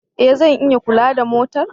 E! Zan iya kula da motar.